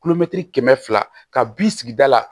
kɛmɛ fila ka bin sigida la